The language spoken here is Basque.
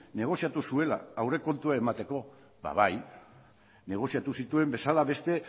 negoziatu zuela aurrekontua emateko bai negoziatu zituen bezala beste